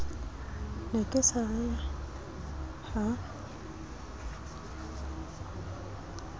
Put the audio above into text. ne ke sa re ha